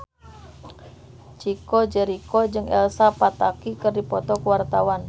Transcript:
Chico Jericho jeung Elsa Pataky keur dipoto ku wartawan